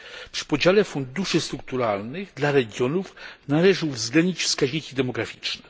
Przy podziale funduszy strukturalnych dla regionów należy uwzględnić wskaźniki demograficzne.